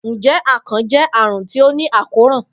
Njẹ akàn jẹ arun ti o ni àkóràn?